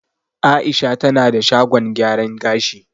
Aisha tana da shagon gyaran gashi